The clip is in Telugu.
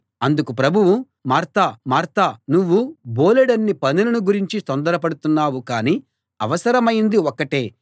అందుకు ప్రభువు మార్తా మార్తా నువ్వు బోలెడన్ని పనులను గురించి తొందర పడుతున్నావు కానీ అవసరమైంది ఒక్కటే